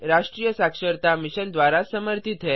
इस मिशन पर अधिक जानकारी नीचे दिए गए लिंक पर उपलब्ध है